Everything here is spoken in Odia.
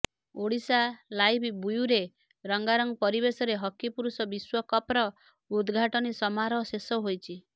ଓଡ଼ିଶାଲାଇଭ୍ ବ୍ୟୁରୋ ରଙ୍ଗାରଙ୍ଗ ପରିବେଶରେ ହକି ପୁରୁଷ ବିଶ୍ବକପ୍ର ଉଦଘାଟନୀ ସମାରୋହ ଶେଷ ହୋଇଛି